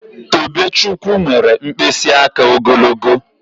Tobechukwu nwere mkpịsị aka ogologo